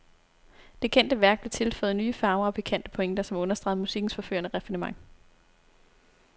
Det kendte værk blev tilføjet nye farver og pikante pointer, som understregede musikkens forførende raffinement.